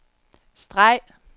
streg